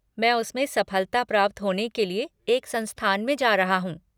मैं उसमें सफलता प्राप्त होने के लिए एक संस्थान में जा रहा हूँ।